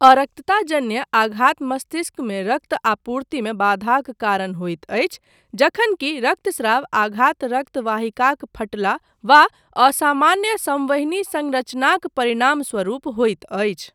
अरक्तताजन्य आघात मस्तिष्कमे रक्त आपूर्तिमे बाधाक कारण होइत अछि, जखन कि रक्तस्राव आघात रक्त वाहिकाक फटला वा असामान्य सँवहनी सँरचनाक परिणामस्वरूप होइत अछि।